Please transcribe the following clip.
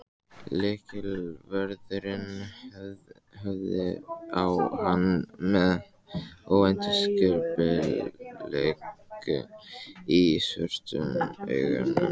Lyklavörðurinn horfði á hann með óveðursbliku í svörtum augunum.